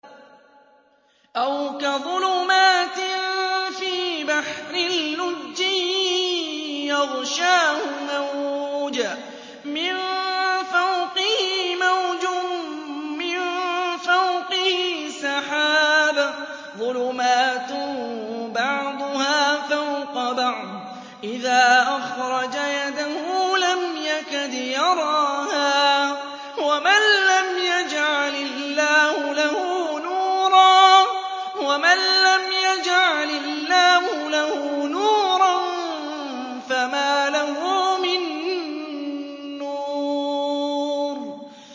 أَوْ كَظُلُمَاتٍ فِي بَحْرٍ لُّجِّيٍّ يَغْشَاهُ مَوْجٌ مِّن فَوْقِهِ مَوْجٌ مِّن فَوْقِهِ سَحَابٌ ۚ ظُلُمَاتٌ بَعْضُهَا فَوْقَ بَعْضٍ إِذَا أَخْرَجَ يَدَهُ لَمْ يَكَدْ يَرَاهَا ۗ وَمَن لَّمْ يَجْعَلِ اللَّهُ لَهُ نُورًا فَمَا لَهُ مِن نُّورٍ